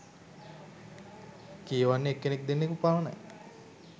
කියවන්නෙ එක්කෙනෙක් දෙන්නකු පමණයි